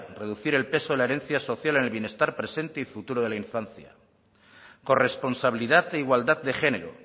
reducir el peso de la herencia social en el bienestar presente y futuro de la infancia corresponsabilidad e igualdad de género